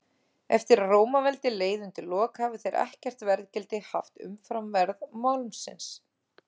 Eftir að Rómaveldi leið undir lok hafa þeir ekkert verðgildi haft umfram verð málmsins.